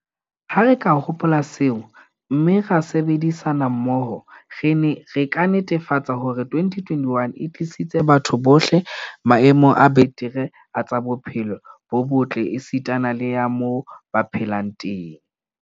Ha re ka hopola seo, mme ra sebedisana mmoho, re ka netefatsa hore 2021 e tlisetsa batho bohle maemo a betere a tsa bophelo bo botle esitana le a moo ba phelang teng.